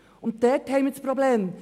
Dort liegt das Problem.